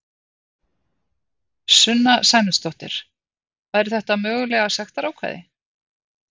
Sunna Sæmundsdóttir: Væru þetta mögulega sektarákvæði?